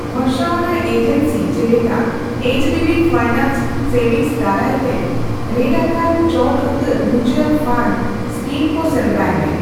ᱵᱷᱚᱨᱥᱟᱣᱟᱱᱟᱜ agency ᱡᱮᱞᱮᱠᱟ HDB finance services ᱫᱟᱨᱟᱭ ᱛᱮ ᱨᱮᱴᱟᱠᱟᱱ ᱪᱚᱴ ᱩᱛᱟᱹᱨ ᱢᱤᱩᱪᱩᱣᱟᱞ ᱯᱷᱟᱱᱰ ᱮᱥᱠᱤᱢ ᱠᱚ ᱥᱮᱱᱫᱨᱟᱭ ᱢᱮ ᱾